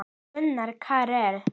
Gunnar Karel.